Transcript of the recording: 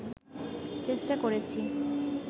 চেষ্টা করেছি